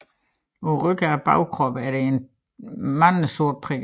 På rygsiden af bagkroppen er der talrige sorte prikker